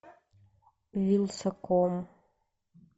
вилсаком